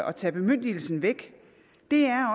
at tage bemyndigelsen væk